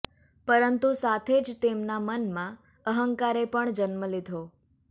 પરંતુ સાથે જ તેમના મનમાં અંહકારે પણ જન્મ લીધો